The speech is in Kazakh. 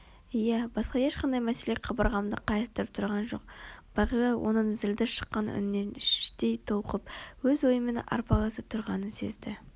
иә басқа ешқандай мәселе қабырғамды қайыстырып тұрған жоқ бағила оның зілді шыққан үнінен іштей толқып өз ойымен арпалысып тұрғанын сезді